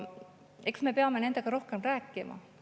Eks me peame nendega rohkem rääkima.